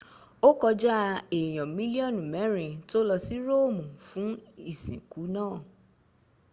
ó kọjá èyan milionu mẹ́rin tó lọsí romu fún ìsìnkú náà